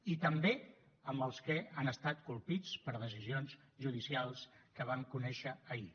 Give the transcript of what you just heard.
i també amb els que han estat colpits per decisions judicials que vam conèixer ahir